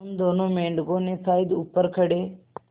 उन दोनों मेढकों ने शायद ऊपर खड़े